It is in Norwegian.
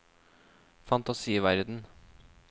fantasiverden